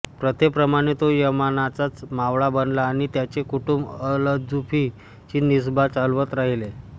प्रथेप्रमाणे तो यामानचा मावळा बनला आणि त्याचे कुटुंब अलजुफी ची निस्बा चालवत राहिले